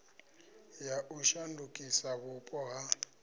ya u shandukisa vhupo ha